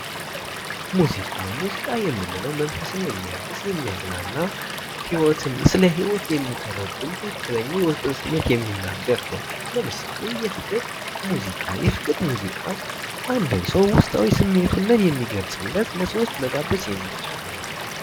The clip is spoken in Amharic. ሙዚቃ ሙዚቃ የምንለው መንፈስን የሚያድስ ስለ ህይወት የሚያዝናና ትክክለኛ የውስጥ ስሜት የሚናገር የሚናገር ነው ለምሳሌ የፍቅር ሙዚቃ የአንድ ሰው ውስጣዊ ስሜት የሚገልጽ ለሰዎች መጋበዝ የሚቻል ነው ።